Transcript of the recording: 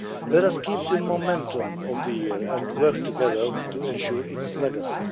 able to take part. Let us keep up the momentum of the year and work together to